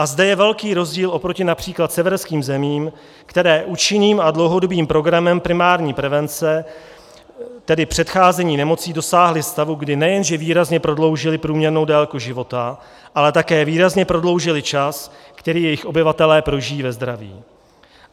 A zde je velký rozdíl oproti například severským zemím, které účinným a dlouhodobým programem primární prevence, tedy předcházení nemocí, dosáhly stavu, kdy nejenže výrazně prodloužily průměrnou délku života, ale také výrazně prodloužily čas, který jejich obyvatelé prožijí ve zdraví.